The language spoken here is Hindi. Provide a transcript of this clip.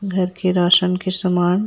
घर के राशन के समान--